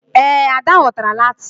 Ee, Ada ghọtara Latin